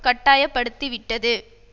கட்டாயப்படுத்தி விட்டது